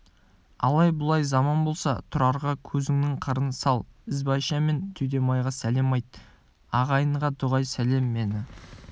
алай-бұлай заман болса тұрарға көзіңнің қырын сал ізбайша мен түйметайға сәлем айт ағайынға дұғай сәлем мені